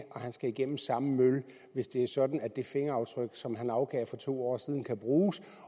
han skal igennem samme mølle hvis det er sådan at det fingeraftryk som han afgav for to år siden kan bruges